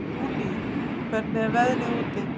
Júlí, hvernig er veðrið úti?